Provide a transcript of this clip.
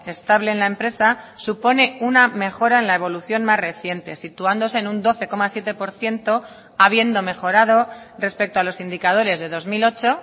estable en la empresa supone una mejora en la evolución más reciente situándose en un doce coma siete por ciento habiendo mejorado respecto a los indicadores de dos mil ocho